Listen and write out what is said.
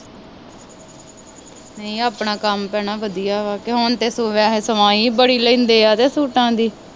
ਨਹੀਂ ਆਪਣਾ ਕੰਮ ਭੈਣਾ ਵਧੀਆ ਵਾ ਅਤੇ ਹੁਣ ਤੇ ਵੈਸੇ ਸਵਾਈਂ ਹੀ ਬੜੀ ਲੈਂਦੇ ਹੈ ਸੂਟਾਂ ਦੀ